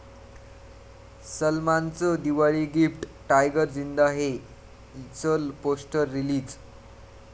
सलमानचं Diwali gift, 'Tiger Zinda हे'च poster release